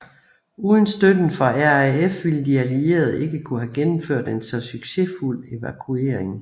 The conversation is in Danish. Uden støtten fra RAF ville de allierede ikke kunne have gennemført en så succesfuld evakuering